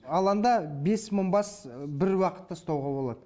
алаңда бес мың бас бір уақытта ұстауға болады